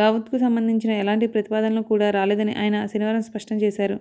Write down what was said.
దావూద్కు సంబంధించిన ఏలాంటి ప్రతిపాదనలు కూడా రాలేదని ఆయన శనివారం స్పష్టం చేశారు